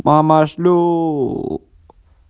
мама шлю